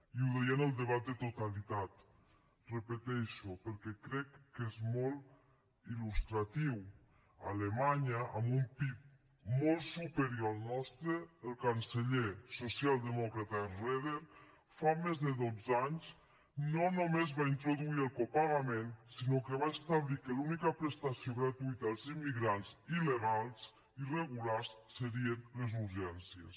i ho deia en el debat de totalitat i ho repeteixo perquè crec que és molt il·lustratiu a alemanya amb un pib molt superior al nostre el canceller socialdemòcrata schröder fa més de dotze anys no només va introduir el copagament sinó que va establir que l’única prestació gratuïta als immigrants il·legals irregulars serien les urgències